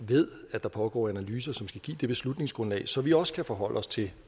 ved at der pågår analyser som skal give et beslutningsgrundlag så vi også kan forholde os til